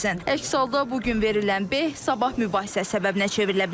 Əks halda bu gün verilən beh sabah mübahisə səbəbinə çevrilə bilər.